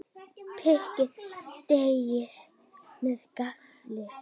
Pikkið deigið með gaffli.